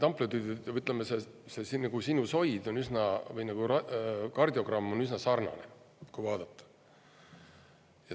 See sinusoid või kardiogramm on üsna sarnane, kui vaadata.